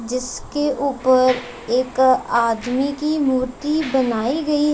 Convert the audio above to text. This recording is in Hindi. जिसके ऊपर एक आदमी की मूर्ति बनाई गई--